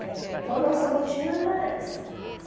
Né. Então, nossa rotina era essa.